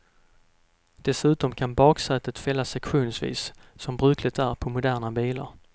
Dessutom kan baksätet fällas sektionsvis som brukligt är på moderna bilar.